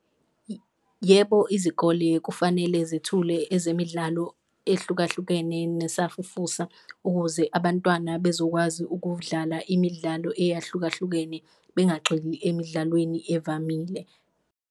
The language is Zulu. Yebo, izikole kufanele zithule ezemidlalo ehlukahlukene nesafufusa ukuze abantwana bezokwazi ukudlala imidlalo eyahlukahlukene, bengagxili emidlalweni evamile.